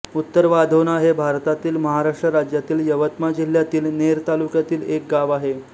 उत्तरवाधोणा हे भारतातील महाराष्ट्र राज्यातील यवतमाळ जिल्ह्यातील नेर तालुक्यातील एक गाव आहे